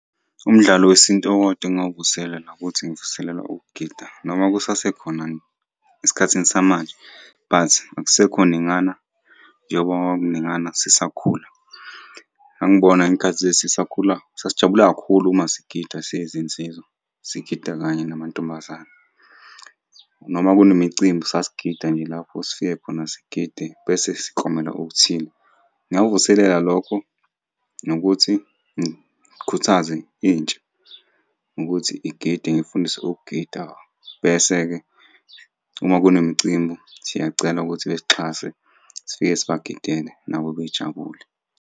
Umdlalo wesintu owodwa engingawuvuselela ukuthi ngivuselele ukugida noma kusasekhona esikhathini samanje but akusekho ningana njengoba kwakukuningana sisakhula. Ngangibona ngey'khathi lezi sisakhula, sasijabula kakhulu uma sigida siyizinsizwa, sigida kanye namantombazane, noma kunemicimbi sasigida nje lapho sifike khona sigide, bese siklomela okuthile. Ngingakuvuselela lokho, nokuthi ngikhuthaze intsha ngokuthi igide ngiyifundise ukugida, bese-ke uma kunemicimbi siyacela ukuthi besixhase sifike sibagidele nabo bejabule.